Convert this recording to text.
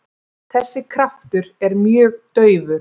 Þessi kraftur er mjög daufur.